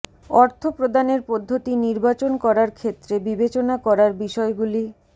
অর্থ প্রদানের পদ্ধতি নির্বাচন করার ক্ষেত্রে বিবেচনা করার বিষয়গুলি